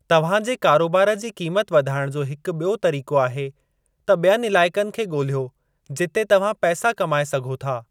तव्हां जे कारोबार जी क़ीमत वधाइण जो हिकु ॿियो तरीक़ो आहे त ॿियनि इलाइक़नि खे ॻोल्हियो जिते तव्हां पैसा कमाए सघो था।